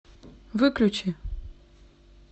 выключи